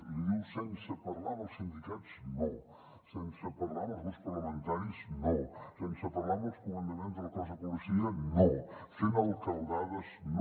li diu sense parlar amb els sindicats no sense parlar amb els grups parlamentaris no sense parlar amb els comandaments del cos de policia no fent alcaldades no